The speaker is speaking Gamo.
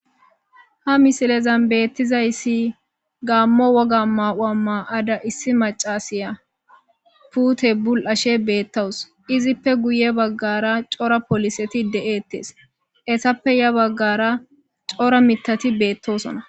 ha misilezan beettizayssi gaammo woga mawa maa ada issi macasiya pute bul7ashe beettawus izippe guye baggara cora poliseti de7eettes essappe ya baggara cora mitati beettosona